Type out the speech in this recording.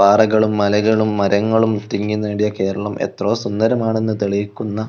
പാറകളും മലകളും മരങ്ങളും തിങ്ങി നേടിയ കേരളം എത്രയോ സുന്ദരമാണെന്ന് തെളിയിക്കുന്ന--